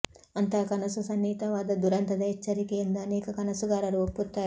ಅಂತಹ ಕನಸು ಸನ್ನಿಹಿತವಾದ ದುರಂತದ ಎಚ್ಚರಿಕೆ ಎಂದು ಅನೇಕ ಕನಸುಗಾರರು ಒಪ್ಪುತ್ತಾರೆ